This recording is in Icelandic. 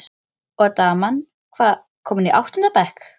Og daman, hvað- komin í áttunda bekk?